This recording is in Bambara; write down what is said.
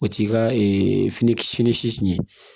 O t'i ka fini siɲɛ